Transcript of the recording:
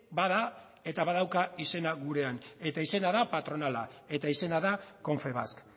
bada eta badauka izena gurean eta izena da patronala eta izena da confebask